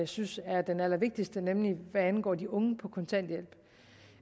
synes er den allervigtigste nemlig det der angår de unge på kontanthjælp